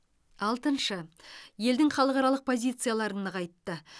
алтыншы елдің халықаралық позицияларын нығайтты